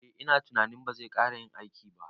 Eh ina tunanin bazai kara yin aiki ba